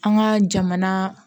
An ka jamana